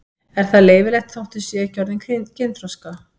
Er það leyfilegt þótt þau séu ekki orðin kynþroska?